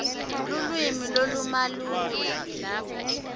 lulwimi lolumalula